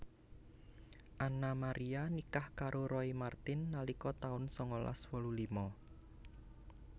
Anna Maria nikah karo Roy Marten nalika taun sangalas wolu lima